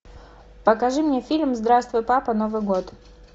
покажи мне фильм здравствуй папа новый год